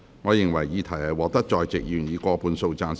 我認為議題獲得在席議員以過半數贊成。